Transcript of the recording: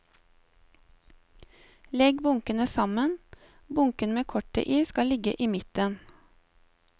Legg bunkene sammen, bunken med kortet i skal ligge i midten.